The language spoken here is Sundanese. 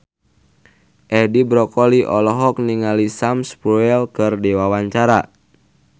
Edi Brokoli olohok ningali Sam Spruell keur diwawancara